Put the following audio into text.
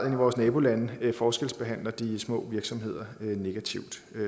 i vores nabolande forskelsbehandler de små virksomheder negativt